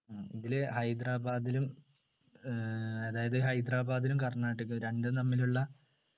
ഉം ഇതില് ഹൈദരാബാദിലും ആഹ് അതായത് ഹൈദരാബാദിലും കർണാടക രണ്ടും തമ്മിലുള്ള